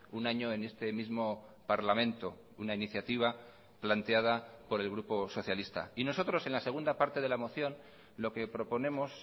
un año en este mismo parlamento una iniciativa planteada por el grupo socialista y nosotros en la segunda parte de la moción lo que proponemos